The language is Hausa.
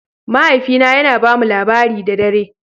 Mahaifina yana ba mu labari da dare